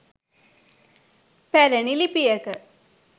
පැරැණි ලිපියක